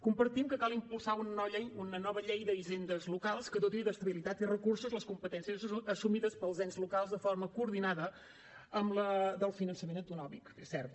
compartim que cal impulsar una nova llei d’hisendes locals que doti d’estabilitat i recursos les competències assumides pels ens locals de forma coordinada amb les del finançament autonòmic és cert